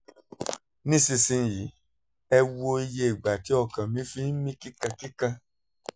nísinsìnyí ẹ wo iye ìgbà tí ọkàn mí fi ń mí kíkankíkan